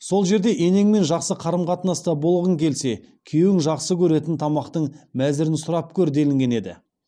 сол жерде енеңмен жақсы қарым қатынаста болғың келсе күйеуің жақсы көретін тамақтың мәзірін сұрап көр делінген еді